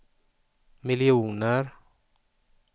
miljoner